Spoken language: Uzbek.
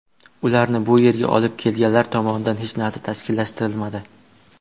Ularni bu yerga olib kelganlar tomonidan hech narsa tashkillashtirilmadi.